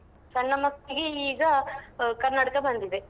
ಸಣ್ಣ ಮಕ್ಳಿಗೆ ಈಗ ಆ ಕನ್ನಡಕ ಬಂದಿದೆ.